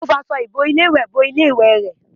Ó fi aṣọ ìbolé ìwẹ̀ bo ilé ìwẹ rẹ̀